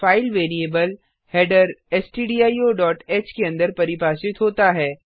file variable header stdioह के अंदर परिभाषित होता है